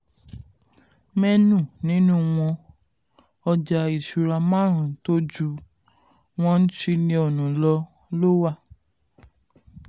menu nínú wọn ọjà ìṣúra márùn tó ju one trillion ló wà swoots ní nairametrics.